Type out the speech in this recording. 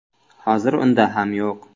Hozir unda ham yo‘q.